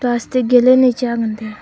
plastic gilen le cha ngan taiga.